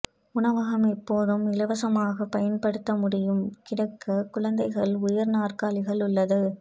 உணவகம் எப்போதும் இலவசமாக பயன்படுத்த முடியும் கிடைக்க குழந்தைகள் உயர் நாற்காலிகள் உள்ளது